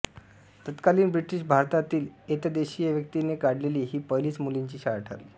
तत्कालीन ब्रिटिश भारतातली एतद्देशीय व्यक्तीने काढलेली ही पहिलीच मुलींची शाळा ठरली